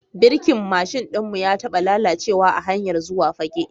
Birkin mashin ɗin mu ya taba lalacewa a hanyar zuwa Fagge.